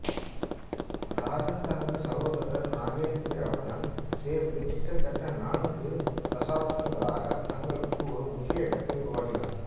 இராஜன் தனது சகோதரர் நாகேந்திராவுடன் சேர்ந்து கிட்டத்தட்ட நான்கு தசாப்தங்களாக தங்களுக்கு ஒரு முக்கிய இடத்தை உருவாக்கினார்